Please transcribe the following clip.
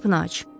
Qapını aç.